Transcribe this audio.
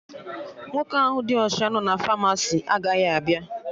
Nwoke ahụ dị ọcha nọ na Famasi agaghị abịa